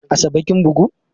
Asabe kin bugu?